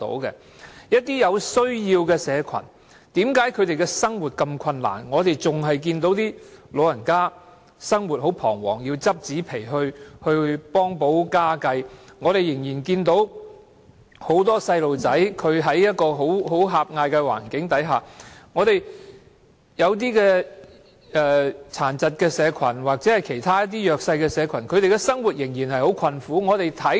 為何一些有需要的社群生活如此困難：我們仍然看到一些長者生活彷徨，要拾紙皮以幫補家計；我們仍然看到很多小孩生活在狹隘的環境當中；我們看到殘疾社群或其他弱勢社群的生活仍然很困苦。